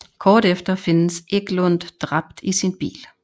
Kort efter findes Eklund dræbt i sin bil